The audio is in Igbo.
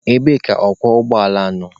Ebee ka ọkwọ ụgbọala nọ?